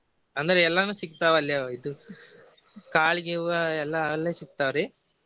ಅಂದ್ರೆ ಎಲ್ಲಾನು ಸಿಗ್ತಾವ ಅಲ್ಲಿ ಇದು ಕಾಳ್ ಗಿವ್ವಾ ಎಲ್ಲಾ ಅಲ್ಲೆ ಸಿಗ್ತಾವ್ರಿ.